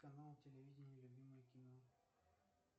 канал телевидения любимое кино